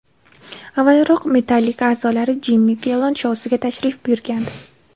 Avvalroq Metallica a’zolari Jimmi Fellon shousiga tashrif buyurgandi.